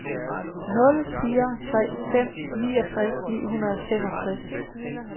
nul fire tre fem niogtres ni hundrede og femogtres